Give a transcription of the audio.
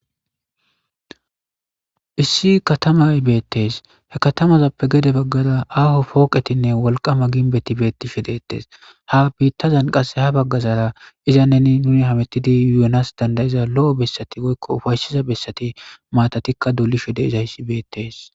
issi katamay beettes he katamazappe gede baggara aaho pooqetinne wolqama ginbeti beettishe deettes ha biittazan qasse ha baggazara iza neni nuni hamettidi yuonas dandayiza lo7o bessati goykko ufayssiza bessati maatatikka dulishu deezayssi beettes